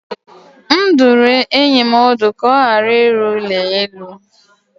M dụrụ enyi m ọdụ ka ọ ghara ịrụ ụlọ elu.